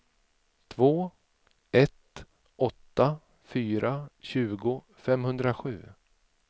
två ett åtta fyra tjugo femhundrasju